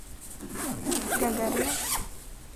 гагарина